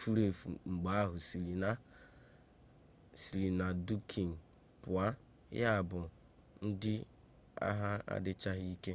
furu efu mgbe ha siri na dunkirk pụọ yabụ na ndị agha adịchaghị ike